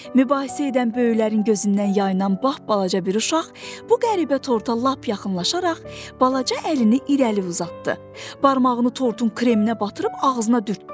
Mübahisə edən böyüklərin gözündən yayılan lap balaca bir uşaq bu qəribə torta lap yaxınlaşaraq balaca əlini irəli uzatdı, barmağını tortun kreminə batırıb ağzına dürtdü.